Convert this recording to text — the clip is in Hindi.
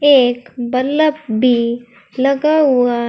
एक बल्ब भी लगा हुआ--